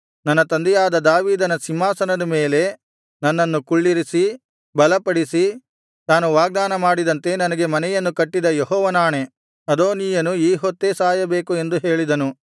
ನನ್ನ ತಂದೆಯಾದ ದಾವೀದನ ಸಿಂಹಾಸನದ ಮೇಲೆ ನನ್ನನ್ನು ಕುಳ್ಳಿರಿಸಿ ಬಲಪಡಿಸಿ ತಾನು ವಾಗ್ದಾನ ಮಾಡಿದಂತೆ ನನಗೆ ಮನೆಯನ್ನು ಕಟ್ಟಿದ ಯೆಹೋವನಾಣೆ ಅದೋನೀಯನು ಈ ಹೊತ್ತೇ ಸಾಯಬೇಕು ಎಂದು ಹೇಳಿದನು